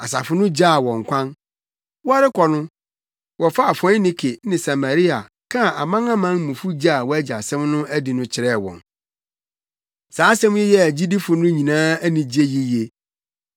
Asafo no gyaa wɔn kwan. Wɔrekɔ no, wɔfaa Foinike ne Samaria kaa amanamanmufo gye a wɔagye asɛm no adi no kyerɛɛ wɔn. Saa asɛm yi yɛɛ agyidifo no nyinaa anigye yiye.